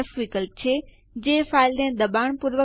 LS space home અને Enter ડબાઓ